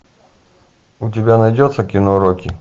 у тебя найдется кино рокки